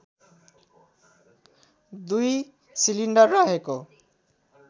दुई सिलिन्डर रहेको